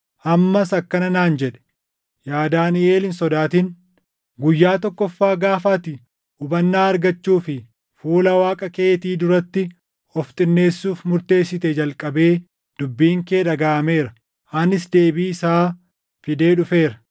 Ammas akkana naan jedhe; “Yaa Daaniʼel hin sodaatin. Guyyaa tokkoffaa gaafa ati hubannaa argachuu fi fuula Waaqa keetii duratti of xinneessuuf murteessitee jalqabee dubbiin kee dhagaʼameera; anis deebii isaa fidee dhufeera.